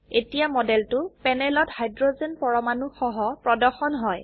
এতিয়ামডেলটো প্যানেলত হাইড্ৰোজেন পৰমাণু সহপ্ৰৰ্দশন হয়